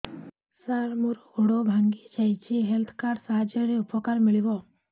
ସାର ମୋର ଗୋଡ଼ ଭାଙ୍ଗି ଯାଇଛି ହେଲ୍ଥ କାର୍ଡ ସାହାଯ୍ୟରେ ଉପକାର ମିଳିବ